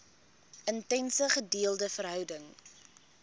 intense gedeelde verhouding